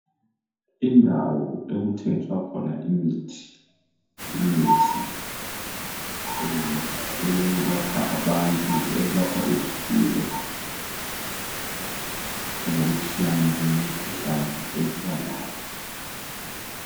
Indawo okuthengiswa khona imithi. Imithi eyelapha abantu ,eyelapha izifuyo ngokutshiyana kwemikhuhlane esiba layo.